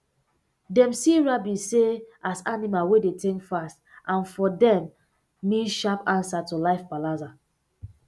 dem see rabbit um as animal wey dey think fast and um dem mean sharp answer to life palava